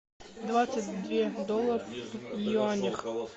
двадцать две доллар в юанях